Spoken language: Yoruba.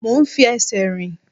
Mo ń fi ẹsẹ̀ rìn.